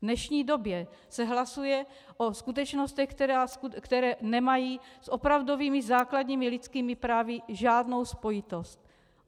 V dnešní době se hlasuje o skutečnostech, které nemají s opravdovými základními lidskými právy žádnou spojitost.